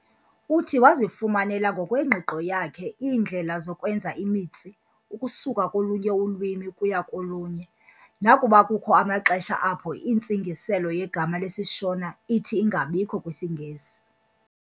Uthi wazifumanela ngokwengqiqo yakhe iindlela zokwenza imitsi ukusuka kolunye ulwimi ukuya kolunye, nakuba kukho amaxesha apho intsingiselo yegama lesiShona ithi ingabikho kwisiNgesi.